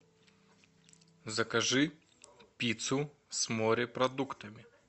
закажи пиццу с морепродуктами